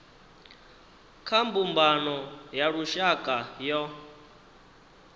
kha mbumbano ya lushaka yo